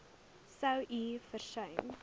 sou u versuim